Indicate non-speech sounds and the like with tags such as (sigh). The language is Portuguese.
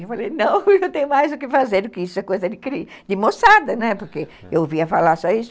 Eu falei, não, (laughs) eu não tenho mais o que fazer do que isso, é coisa de (unintelligible) de moçada, né, porque eu ouvia falar só isso.